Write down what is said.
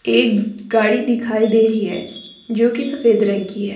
एक गाड़ी दिखाई दे रही है जो की सफेद रंग की है।